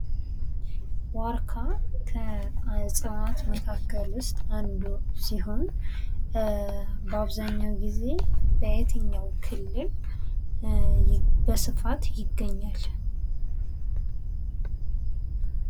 ዋርካ ከእጽዋት መካከል ውስጥ አንዱ ሲሆን በአብዛኛው ጊዜ በየትኛው ክልል በስፋት ይገኛል።